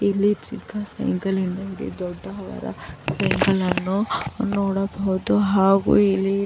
ಇಲ್ಲಿ ಚಿಕ್ಕ ಸೈಕಲಿನಲ್ಲಿ ದೊಡ್ಡವರ ಸೈಕಲ್ ಅನ್ನು ನೋಡಬಹುದು ಹಾಗು ಇಲ್ಲಿ --